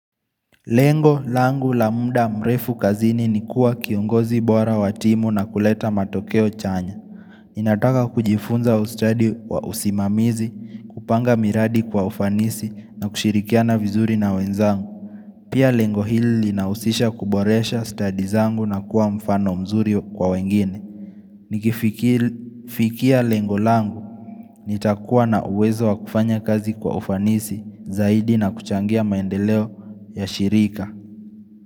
Lengo, langu, la muda, mrefu, kazini ni kuwa kiongozi bora wa timu na kuleta matokeo chanya. Ninataka kujifunza ustadi wa usimamizi, kupanga miradi kwa ufanisi na kushirikiana vizuri na wenzangu. Pia lengo hili inahusisha kuboresha stadi zangu na kuwa mfano mzuri kwa wengine. Nikifikia lengo langu, nitakuwa na uwezo wa kufanya kazi kwa ufanisi zaidi na kuchangia maendeleo ya shirika.